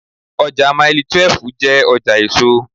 Ọjà Mailí 12 jẹ́ ọjà èso.